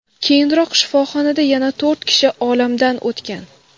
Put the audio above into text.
Keyinroq shifoxonada yana to‘rt kishi olamdan o‘tgan.